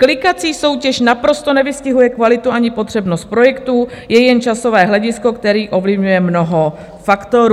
Klikací soutěž naprosto nevystihuje kvalitu ani potřebnost projektů, je jen časové hledisko, které ovlivňuje mnoho faktorů."